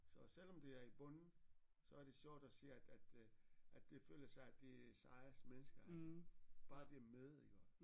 Så selvom det er i bunden så er det sjovt at se at at øh at de føler sig at de er sejeste mennesker bare de er med iggå